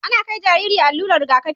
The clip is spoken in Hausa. Ana kai jariri allurar Riga kafi